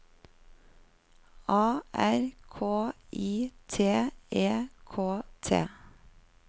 A R K I T E K T